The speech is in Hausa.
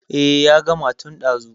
Eh ya gama tun ɗazu.